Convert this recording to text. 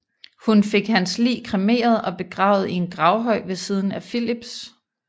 Hun fik hans lig kremeret og begravet i en gravhøj ved siden af Filips